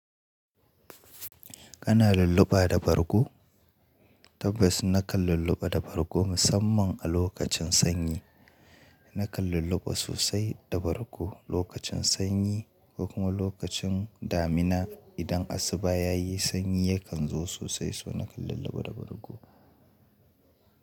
Kana lulluɓa da bargo? Tabbas nakan lulluɓa da bargo musamman a lokacin sanyi. Nakan lulluɓa sosai da bargo lokacin sanyi ko kuma lokacin damina. Idan asuba ya yi sanyi yakan zo sosai, so nakan lulluɓa da bargo.